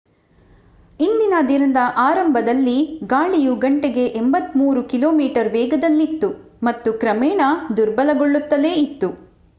ಇಂದಿನ ದಿನದ ಆರಂಭದಲ್ಲಿ ಗಾಳಿಯು ಗಂಟೆಗೆ 83 ಕಿಮೀ ವೇಗದಲ್ಲಿತ್ತು ಮತ್ತು ಕ್ರಮೇಣ ದುರ್ಬಲಗೊಳ್ಳುತ್ತಲೇ ಇತ್ತು